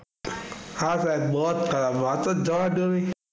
હા સાહેબ બહોત ખરાબ વાત જ જવા દાવી.